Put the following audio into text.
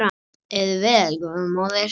Lifðu vel góða móðir.